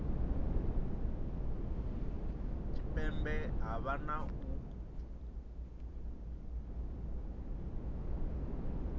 tshipembe ha vha na u